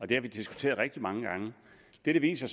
det har vi diskuteret rigtig mange gange det det viser